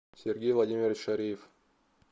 сергей владимирович шариев